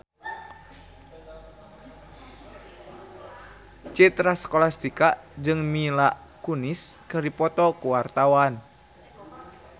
Citra Scholastika jeung Mila Kunis keur dipoto ku wartawan